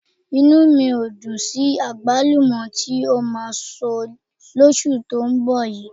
Inú mi ò dùn sí àgbálùmọ́ tí ó máa so lóṣù tó ń bọ̀ yìí